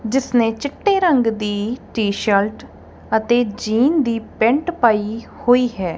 ਜਿਸ ਨੇ ਚਿੱਟੇ ਰੰਗ ਦੀ ਟੀਸ਼ਰਟ ਅਤੇ ਜੀਨ ਦੀ ਪੈਂਟ ਪਾਈ ਹੋਈ ਹੈ।